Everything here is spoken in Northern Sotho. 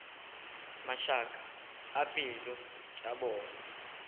mašaka a pelo tša bona